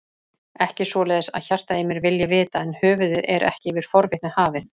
Ekki svoleiðis að hjartað í mér vilji vita, en höfuðið er ekki yfir forvitni hafið.